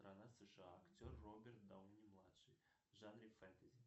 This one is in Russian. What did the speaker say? страна сша актер роберт дауни младший в жанре фэнтези